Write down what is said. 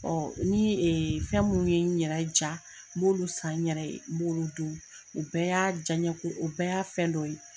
ni fɛn minnu ye, n ɲɛrɛ ja, n b'olu san, n ɲɛrɛ ye, n b'olu dun, o bɛɛ y'a jaɲe ko o bɛɛ y'a fɛn dɔ ye